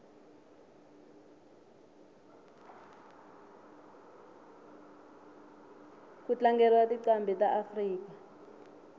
kutlangeliwa tincambi taafrika